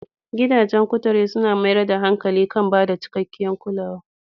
Gidajen kuture suna mayar da hankali kan ba da cikakkiyar kulawa.